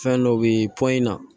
Fɛn dɔ be na